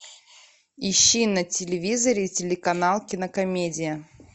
ищи на телевизоре телеканал кинокомедия